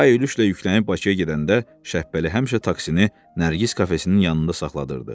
Pay ülüklə yüklənib Bakıya gedəndə Şəpbəli həmişə taksini Nərgiz kafesinin yanında saxladırıdı.